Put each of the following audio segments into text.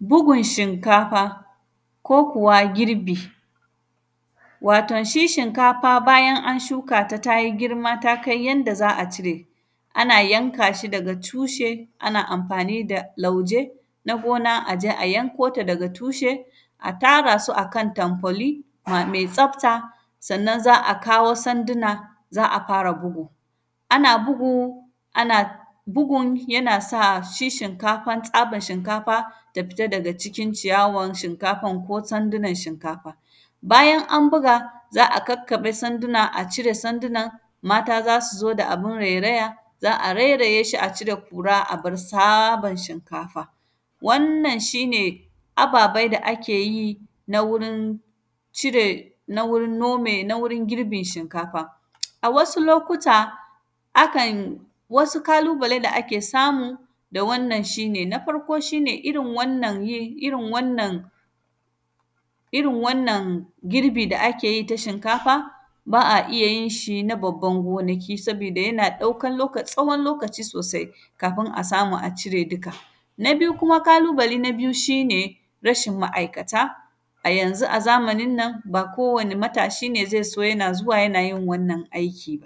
Bugun shinkafa ko kuwa girbi. Waton, shi shinkafa bayan an shuka ta ta yi girma ta kai yanda za a cire, ana yanka shi daga tushe, ana amfani da lauje na gona a je a yanko ta daga tushe. A tara su a kan tanfoli, a, me tsafta, sannan, za a kawo sandina, za a fara bugu. Ana bugu, ana bugun yana sa shi shinkafan, tsaban shinkafa ta fita daga cikin ciyawan shinkafan ko sandinan shinkafa. Bayan an buga, za a kakkaƃe sandina, a cire sandinan, mata za su zo da abun reraya, za a reraye shi a cire kura, a bar sabab shinkafa. Wannan, shi ne ababai da ake yin a wurin cire, na wurin nome, na wurin girbin shinkafa. A wasu lokuta, akan, wasu kalubale da akan samu da wannan shi ne. Na farko, shi ne irin wannan yin; irin wannan, irin wannan girbi da ake yi ta shinkafa, ba a iya yin shin a babban gonaki, sabida yana ɗaukan loka; tsawon lokaci sosai, kafin a samu a cire duka. Ba biyu kuma, kalubale na biyu, shi ne rashin ma’aikata, a yanzu a zamanin nan, ba kowane matashi ne ze so yana zuwa yana yin wannan aiki.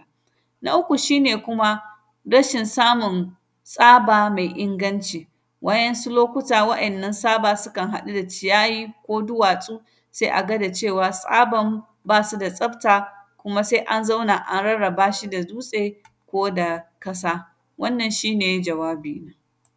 Na uku, shi ne kuma rashin samun tsaba mai inganci, wa’yansu lokuta wa’yannan saba sukan haɗu da ciyayi ko duwatsu, se a ga da cewa tsaban, ba su da tsafta. Kuma, se an zauna an rarraba shi da dutse ko da kasa. Wannnan, shi ne jawabina.